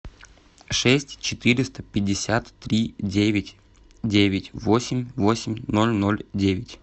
шесть четыреста пятьдесят три девять девять восемь восемь ноль ноль девять